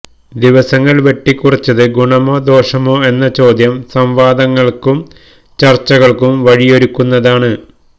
ദിവസങ്ങൾ വെട്ടിക്കുറച്ചത് ഗുണമോ ദോഷമോ എന്ന ചോദ്യം സംവാദങ്ങൾക്കും ചർച്ചകൾക്കും വഴിയൊരുക്കുന്നതാണ്